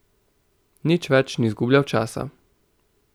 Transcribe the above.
Nič več ni izgubljal časa.